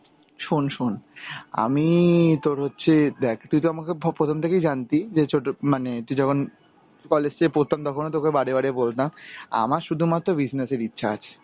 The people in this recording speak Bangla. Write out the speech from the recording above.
শোন, শোন. আমি তোর হচ্ছে দেখ, তুই তো আমাকে ফ~ প্রথম থেকে জানতি যে ছোট মানে তুই যখন college এ প্রথম তখনও তোকে বারে বারে বলতাম, আমার শুধুমাত্র business এর ইচ্ছা আছে.